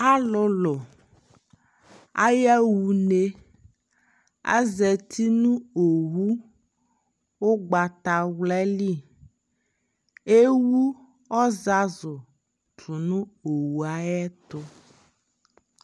alʋlʋ ayaha ʋnɛ, azati nʋ ɔwʋ ɔgbatawla li, ɛwʋ ɔzazʋ tʋnʋ ɔwʋɛ ayɛtʋ